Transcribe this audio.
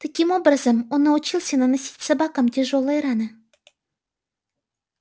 таким образом он научился наносить собакам тяжёлые раны